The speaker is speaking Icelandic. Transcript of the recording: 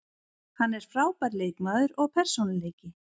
Hann er frábær leikmaður og persónuleiki.